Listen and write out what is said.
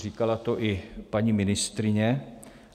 Říkala to i paní ministryně.